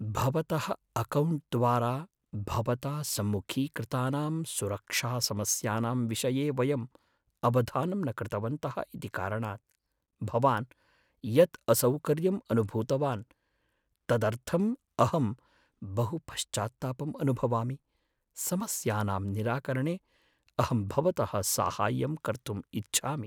भवतः अकौण्ट्द्वारा भवता सम्मुखीकृतानां सुरक्षासमस्यानां विषये वयम् अवधानं न कृतवन्तः इति कारणात् भवान् यत् असौकर्यं अनुभूतवान्, तदर्थम् अहं बहु पश्चात्तापम् अनुभवामि, समस्यानां निराकरणे अहं भवतः साहाय्यं कर्तुम् इच्छामि।